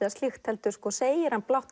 heldur segir hann